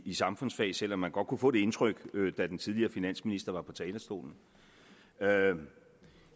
i samfundsfag selv om man godt kunne få det indtryk da den tidligere finansminister var på talerstolen